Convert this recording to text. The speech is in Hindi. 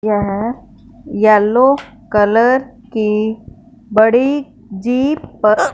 यह येलो कलर की बड़ी जीप प--